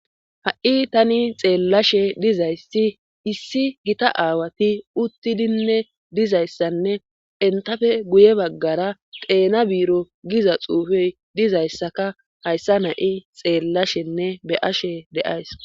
Ha'i tani xeellashe dizayssi issi gita aawati uttidinne dizayssanne entafe guye baggara teena biiro giza xuufey dizayssaka hayssa nayi xeellashenne be ashe deays